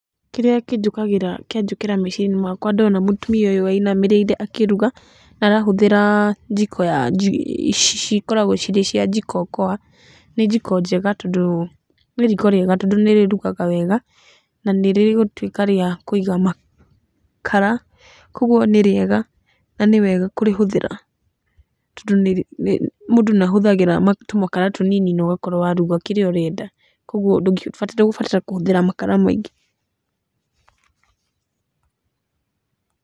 Kĩrĩa kĩnjũkagĩra, kianjũkĩra meciria-inĩ makwa ndona mũtumia ũyũ ũinamĩrĩire akĩruga, arahũthĩra njiko ici cikoragwo cirĩ cia Jikokoa. Nĩ njiko njega, tondũ nĩ riko rĩega tondũ nĩ rĩrugaga wega na nĩ rĩgũtuĩka rĩa kũiga makara, kuũguo nĩ rĩega na nĩ wega kũrĩhũthĩra. Tondũ mũndũ nĩ ahũthagĩra tũmakara tũnini na ũkorwo waruga kĩrĩa ũrenda. Koguo ndũgũbatara kũhũthĩra makara maingĩ.